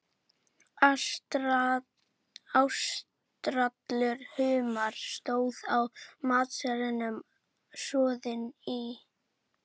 Ástralskur humar, stóð á matseðlinum, soðinn í